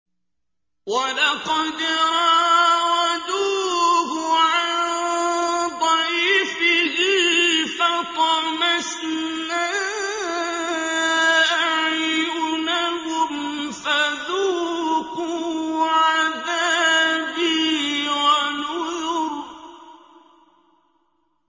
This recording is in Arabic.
وَلَقَدْ رَاوَدُوهُ عَن ضَيْفِهِ فَطَمَسْنَا أَعْيُنَهُمْ فَذُوقُوا عَذَابِي وَنُذُرِ